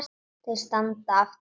Þau standa aftur á hólnum.